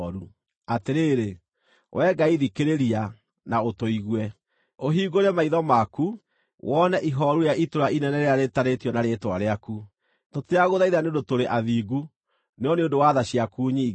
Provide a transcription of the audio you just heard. Atĩrĩrĩ, Wee Ngai thikĩrĩria, na ũtũigue, ũhingũre maitho maku wone ihooru rĩa itũũra inene rĩrĩa rĩĩtanĩtio na Rĩĩtwa rĩaku. Tũtiragũthaitha nĩ ũndũ tũrĩ athingu, no nĩ ũndũ wa tha ciaku nyingĩ.